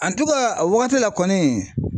a wagati la kɔni